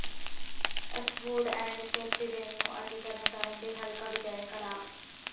ਇਸ food and safety van ਨੂੰ ਅੱਜ ਤਰਨਤਾਰਨ ਦੇ ਹਲਕਾ ਵਿਧਾਇਕ ਡਾ